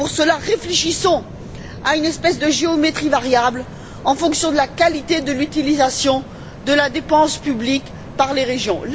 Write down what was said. Pour cela, réfléchissons à une espèce de géométrie variable en fonction de la qualité de l'utilisation de la dépense publique par les régions.